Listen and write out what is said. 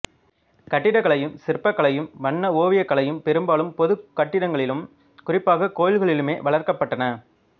கட்டடக்கலையும் சிற்பக் கலையும் வண்ண ஓவியக்கலையும் பெரும்பாலும் பொதுக் கட்டடங்களிலும் குறிப்பாகக் கோயில்களிலுமே வளர்க்கப்பட்டன